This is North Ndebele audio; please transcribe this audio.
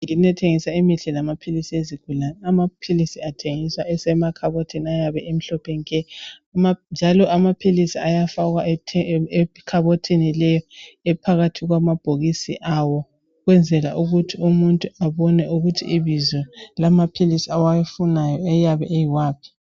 Indawo ethengiselwa imithi yezigulane lamaphilisi, amaphilisi lawa athengisa endaweni emhlophe nke. Amaphilisi ayabe efakwe phakathi kwamabhokisi , afakwa emakhabothini ukuthi abantu benelise ekubala amabizo awo